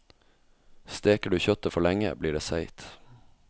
Steker du kjøttet for lenge, blir det seigt.